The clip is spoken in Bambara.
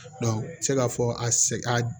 se k'a fɔ a sɛ